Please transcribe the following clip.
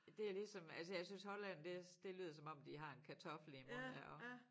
Det er ligesom altså jeg synes Holland det det lyder som om de har en kartoffel i æ mund ja også